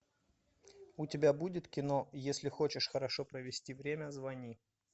у тебя будет кино если хочешь хорошо провести время звони